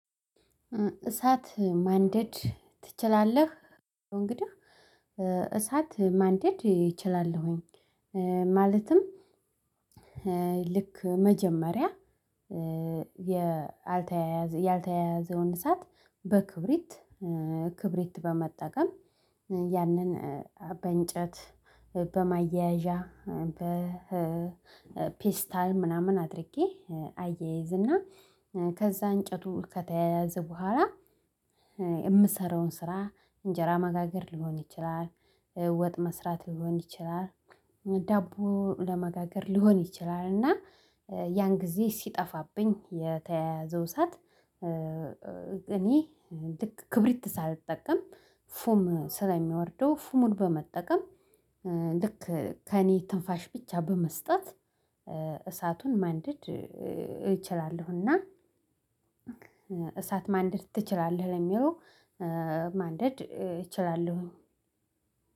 እሳት ማንደድ ትችላለህ? እንግዲህ እሳት ማንደድ ይችላለሁኝ። ማለትም ልክ መጀመሪያ ያልተያያዘ ያልተያያዘውን እሳት በክብሪት ክብሪት በመጠቀም ያንን በእንጨት በማያያዣ በፔስታል ምናምን አድርጌ አያይዝና ከዛ እንጨቱ ከተያያዘ በኋላ የምሰራውን ስራ እንጀራ ማጋገር ሊሆን ይችላል። ወጥ መስራት ሊሆን ይችላል። ዳቦ ለመጋገር ሊሆን ይችላል። እና ያን ጊዜ ሲጠፋብኝ የተያያዘው እሳት እኔ ልክ ክብሪት ሳልጠቀም ፉም ስለሚወርደው ፉሙን በመጠቀም ልክ ከእኔ ትንፋሽ ብቻ በመስጠት እሳቱን ማንደድ እችላለሁና። እሳት ማንደድ ትችላለህ ለሚለው ማንደድ እችላለሁ።